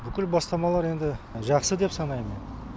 бүкіл бастамалары енді жақсы деп санаймын